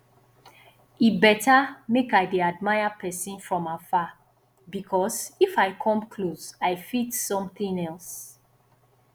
e better make i dey admire person from afar because if i come close i fit something else